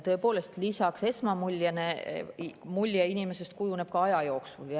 Tõepoolest, lisaks esmamuljele inimesest kujuneb mulje aja jooksul.